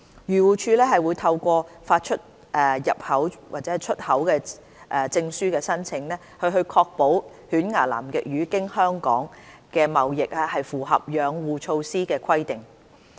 漁護署會透過發出入口/出口證書的申請，確保犬牙南極魚經香港的貿易符合養護措施的規定。